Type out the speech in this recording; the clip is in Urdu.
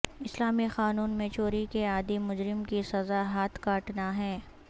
اسلامی قانون میں چوری کے عادی مجرم کی سزا ہاتھ کاٹنا ہے